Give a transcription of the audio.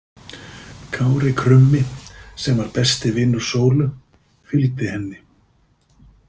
Kári krummi sem var besti vinur Sólu fylgdi henni.